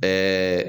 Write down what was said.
Ɛɛ